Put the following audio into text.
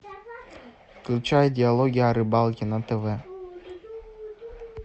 включай диалоги о рыбалке на тв